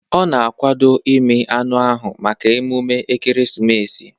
Ọ na-akwado ịmị anụ ahụ maka emume ekeresimesi